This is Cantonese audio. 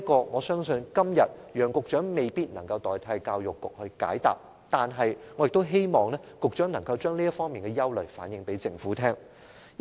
我相信楊局長今天未必能代教育局解答這項問題，但我希望局長向政府反映這些憂慮。